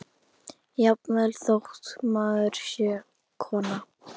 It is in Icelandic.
Jafnvel þótt maður sé kona.